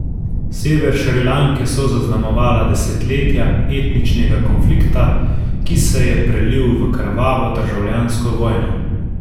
Sever Šrilanke so zaznamovala desetletja etničnega konflikta, ki se je prelil v krvavo državljansko vojno.